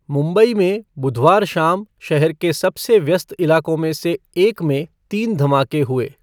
मुंबई में बुधवार शाम शहर के सबसे व्यस्त इलाकों में से एक में तीन धमाके हुए।